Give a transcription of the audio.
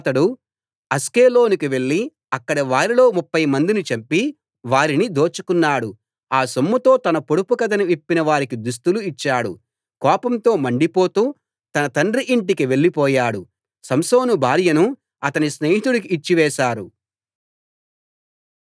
యెహోవా ఆత్మ అతని మీదికి మళ్ళీ బలంగా వచ్చాడు అప్పుడు అతడు అష్కెలోనుకు వెళ్లి అక్కడివారిలో ముప్ఫై మందిని చంపి వారిని దోచుకున్నాడు ఆ సొమ్ముతో తన పొడుపు కథను విప్పిన వారికి దుస్తులు ఇచ్చాడు కోపంతో మండిపడుతూ తన తండ్రి ఇంటికి వెళ్లి పోయాడు